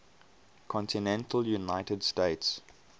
continental united states